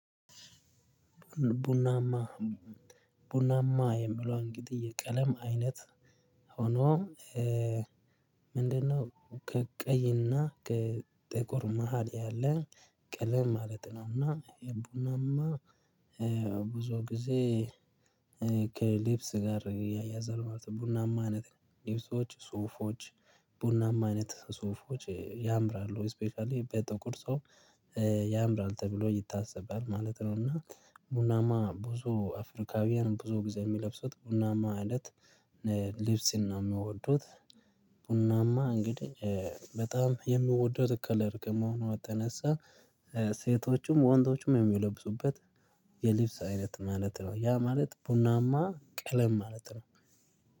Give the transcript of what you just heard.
ቡናማ ቡናማ የምለው እንግዲህ የቀለም አይነት ሆኖ ምንድነው? ከቀይ እና ከጥቁር መሃል ያለ ቀለም ማለት ነው። እና ብዙ ጊዜ ከልብስ ጋር ያያዛል ማለት ነው። ቡናማ አይነት ልብሶች ሱፎች ቡናማ አይነት ሱፎች ያምራሉ ስፔሻሊ በጥቁር ሰው ያምራል ተብሎ ይታሰባል ማለት ነው። እና ቡናማ ብዙ አፍሪካውያን ብዙ ጊዜ የሚለብሱት ቡናማ እለት ልብስ ነው ሚወዱት። ቡናማ እንግዲህ በጣም የምወደው ከለር ከመሆኑ የተነሳ ሴቶቹም ወንዶችም የሚለብሱት የልብስ አይነት ማለት ነው። ያ ማለት ቡናማ ቀለም ማለት ነው